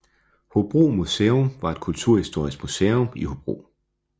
Hobro Museum var et kulturhistorisk museum i Hobro